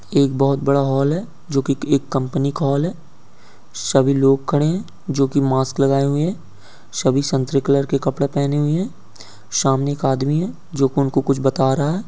एक बहौत बड़ा हॉल है जोकी एक कंपनी का हॉल है सबी लोग खड़े हैं जोकी मास्क लागए हुए हैं सबी संतरी कलर के कपड़े पहने हुए हैं सामने एक आदमी है जो उणको कुछ बाता रहा है।